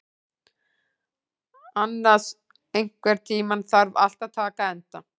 Annas, einhvern tímann þarf allt að taka enda.